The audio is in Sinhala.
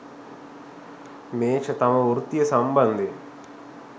මේෂ තම වෘත්තිය සම්බන්ධයෙන්